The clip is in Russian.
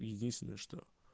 единственное что